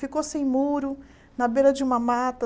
Ficou sem muro, na beira de uma mata.